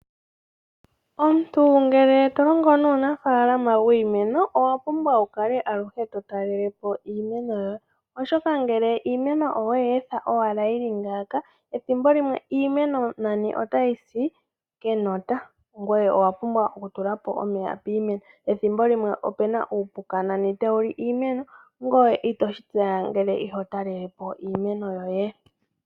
Omuntu ngele to longo nuunafalama wiimeno owa pumbwa aluhe to talelepo iimeno yoye. Oshoka ngele iimeno oweyi etha owala yili ngaaka ethimbo limwe nani iimeno otayi si kenota ngoye owa pumbwa oku tulapo omeya piimeno. Ethimbo limwe nani opena uupuka tawu li iimeno ngoye itoshi tseya ngele iho talelepo iimeno yoye.